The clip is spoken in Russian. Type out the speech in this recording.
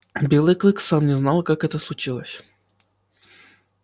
белый клык сам не знал как это случилось